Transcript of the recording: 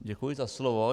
Děkuji za slovo.